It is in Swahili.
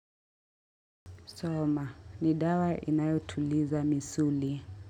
Soma, ni dawa inayotuliza misuli.